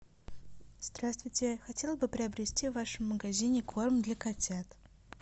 здравствуйте я хотела бы приобрести в вашем магазине корм для котят